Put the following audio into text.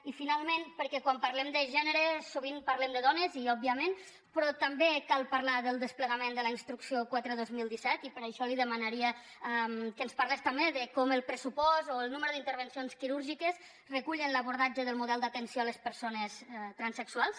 i finalment perquè quan parlem de gènere sovint parlem de dones òbviament però també cal parlar del desplegament de la instrucció quatre dos mil disset i per això li demanaria que ens parlés també de com el pressupost o el nombre d’intervencions quirúrgiques recullen l’abordatge del model d’atenció a les persones transsexuals